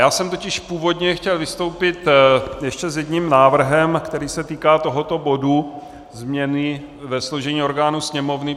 Já jsem totiž původně chtěl vystoupit ještě s jedním návrhem, který se týká tohoto bodu změny ve složení orgánů Sněmovny.